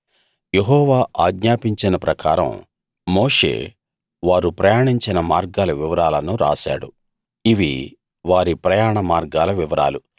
యెహోవా ఆజ్ఞాపించిన ప్రకారం మోషే వారు ప్రయాణించిన మార్గాల వివరాలను రాశాడు ఇవి వారి ప్రయాణ మార్గాల వివరాలు